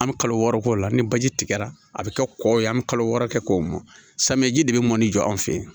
An bɛ kalo wɔɔrɔ k'o la ni baji tigɛra a bɛ kɛ kɔ ye an bɛ kalo wɔɔrɔ kɛ k'o mɔ samiyɛji de bɛ mɔni jɔ an fɛ yen